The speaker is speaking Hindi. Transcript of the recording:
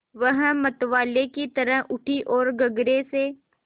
वह मतवाले की तरह उठी ओर गगरे से